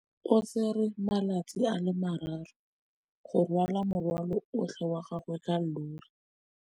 O tsere malatsi a le marraro go rwala morwalo otlhe wa gagwe ka llori.